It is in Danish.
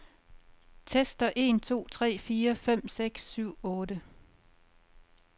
Tester en to tre fire fem seks syv otte.